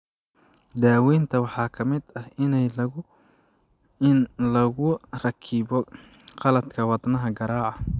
Daawaynta waxaa ka mid ah in lagu rakibo qalabka wadnaha garaaca.